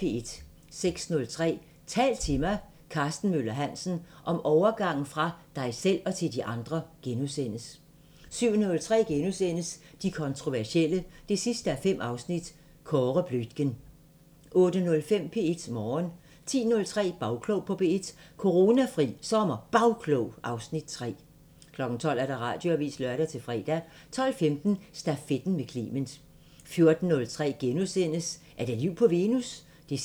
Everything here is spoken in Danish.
06:03: Tal til mig – Karsten Møller Hansen: Om overgangen fra dig selv til de andre * 07:03: De kontroversielle 5:5 – Kåre Bluitgen * 08:05: P1 Morgen 10:03: Bagklog på P1: Coronafri SommerBagklog (Afs. 3) 12:00: Radioavisen (lør-fre) 12:15: Stafetten med Clement 14:03: Er der liv på Venus? 5:5